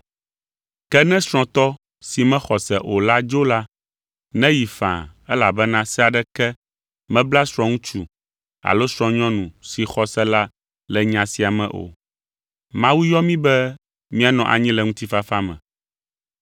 Ke ne srɔ̃tɔ si mexɔ se o la dzo la, neyi faa elabena se aɖeke mebla srɔ̃ŋutsu alo srɔ̃nyɔnu si xɔ se la le nya sia me o. Mawu yɔ mí be míanɔ anyi le ŋutifafa me.